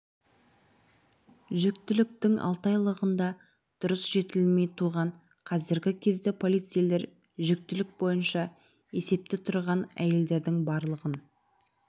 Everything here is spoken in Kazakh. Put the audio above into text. жүктіліктің алты айлығында дұрыс жетілмей туған қазіргі кезде полицейлер жүктілік бойынша есепте тұрған әйелдердің барлығын